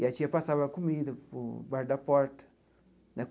E a tia passava a comida por baixo da porta, né?